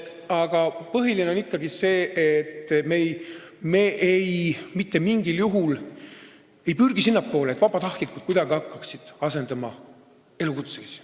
Aga põhiline on ikkagi see, et me mitte mingil juhul ei pürgi sinnapoole, et vabatahtlikud kuidagi hakkaksid asendama elukutselisi.